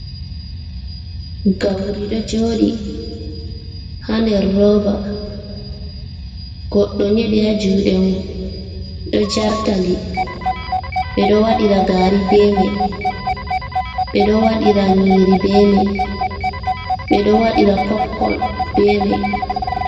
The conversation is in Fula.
Gauri ɗo joɗi ha nder roba goɗɗo nyeɗi ha juɗe mun ɗo jartadi ɓeɗo waɗira gari be mai ɓeɗo waɗira nyiri be mai ɓeɗo wadira popkon bemai.